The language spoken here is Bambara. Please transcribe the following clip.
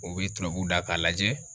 U bɛ turabu da k'a lajɛ.